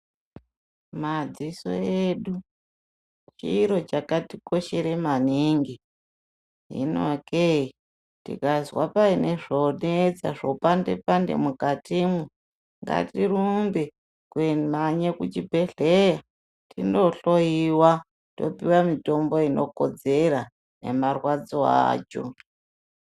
Madziso edu chiro chakatikoshera maningi. Hino kee tikazwa paine zvoonetsa zvopande pande mukatimwo ngatirumbe kumhanye kuchibhedhleya tindohloiwa topiwa mitombo inokodzera nemarwadzo acho.